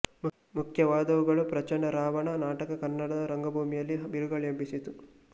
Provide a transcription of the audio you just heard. ಮುಖ್ಯವಾದವುಗಳು ಪ್ರಚಂಡ ರಾವಣ ನಾಟಕ ಕನ್ನಡ ರಂಗಭೂಮಿಯಲ್ಲಿ ಬಿರುಗಾಳಿ ಎಬ್ಬಿಸಿತು